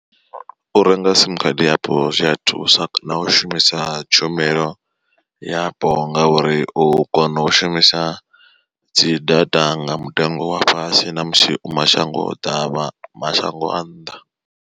U renga sim khadi yapo zwi a thusa na u shumisa tshumelo yapo ngauri u kona u shumisa dzi data nga mutengo wa fhasi namusi u mashango o ḓavha mashango a nnḓa.